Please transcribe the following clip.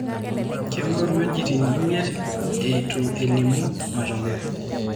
Kengor wejitin miet etuelimu matokeyo.